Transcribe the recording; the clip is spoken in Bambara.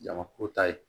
Jamaku ta ye